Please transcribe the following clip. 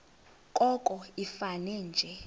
koko ifane nje